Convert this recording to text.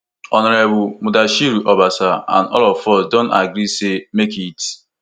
honourable mudashiru obasa and today all of us don agree say make rt